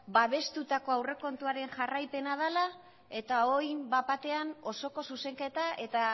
babestutako aurrekontuaren jarraipena dela eta orain bat batean osoko zuzenketa eta